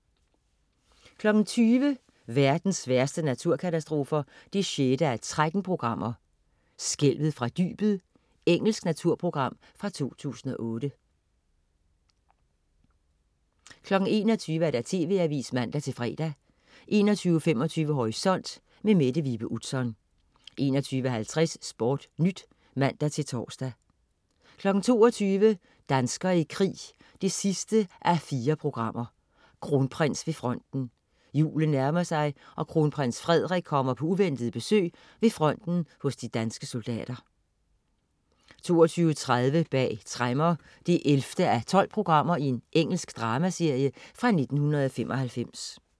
20.00 Verdens værste naturkatastrofer 6:13. "Skælvet fra dybet". Engelsk naturprogram fra 2008 21.00 TV Avisen (man-fre) 21.25 Horisont. Mette Vibe Utzon 21.50 SportNyt (man-tors) 22.00 Danskere i krig 4:4. Kronprins ved fronten. Julen nærmer sig, og kronprins Frederik kommer på uventet besøg ved fronten hos de danske soldater 22.30 Bag tremmer 11:12. Engelsk dramaserie fra 1995